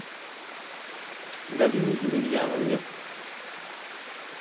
галине емельяновне